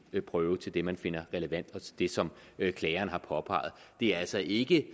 prøve til det som man finder relevant og til det som klageren har påpeget det er altså ikke